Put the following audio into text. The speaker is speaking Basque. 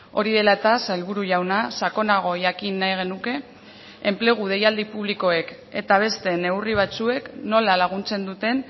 hori dela eta sailburu jauna sakonago jakin nahi genuke enplegu deialdi publikoek eta beste neurri batzuek nola laguntzen duten